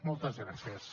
moltes gràcies